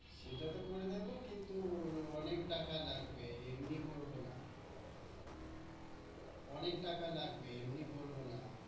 সেটা তো করে দেবো কিন্তু অনেক টাকা লাগবে, এমনি করবো না। অনেক টাকা লাগবে, এমনি করবো না।